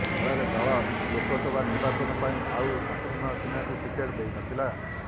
ଫଳରେ ଦଳ ଲୋକସଭା ନିର୍ବାଚନ ପାଇଁ ଆଉ ଶତ୍ରୁଘ୍ନ ସିହ୍ନାଙ୍କୁ ଟିକେଟ ଦେଇନଥିଲା